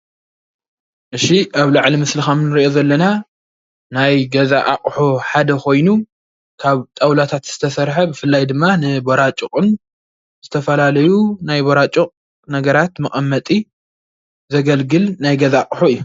እዚ ኣብ ላዕሊ ምስሊ ከምንርኦ ዘለና ናይ ገዛ ኣቁሑ ሓደ ኮይኑ ካብ ጣውላታት ዝተሰረሐ ብፍላይ ድማ ንበራጩቅን ዝተፈላለዩ ናይ በራጩቅ ነገራት መቀመጢ ዘገልግል ናይ ገዛ ኣቁሑ እዩ።